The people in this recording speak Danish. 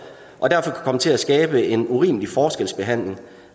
og derfor kan komme til at skabe en urimelig forskelsbehandling